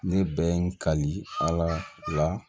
Ne bɛ n kali ala